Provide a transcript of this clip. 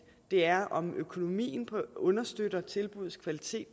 det er om økonomien understøtter tilbuddets kvalitet